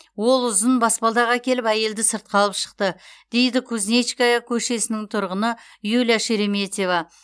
ол ұзын баспалдақ әкеліп әйелді сыртқа алып шықты дейді кузнечкая көшесінің тұрғыны юлия шереметьева